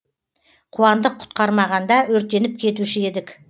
қуандық құтқармағанда өртеніп кетуші едік